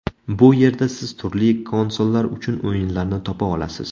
Bu yerda siz turli konsollar uchun o‘yinlarni topa olasiz.